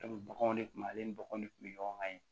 baganw de kun ale ni baganw de kun bɛ ɲɔgɔn kan ye